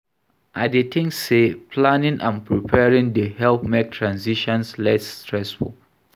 I dey think say planning and preparing dey help make transitions less stressful.